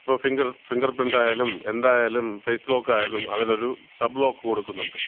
ഇപ്പം finger, fingerprint ആയാലും എന്തായാലും ഫേസ് ലോക്ക് ആയാലും അതിലൊരു ഒരു സബ് ലോക്ക് കൊടുക്കുന്നുണ്ട്.